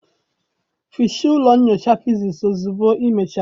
hichaa ụlọ nyocha physics ozugbo ịmechara!